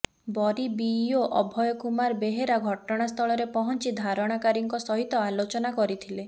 ବରୀ BEO Abhay Kumar Behera ଘଟଣାସ୍ଥଳରେ ପହଞ୍ଚି ଧାରଣାକାରୀଙ୍କ ସହିତ ଆଲୋଚନା କରିଥିଲେ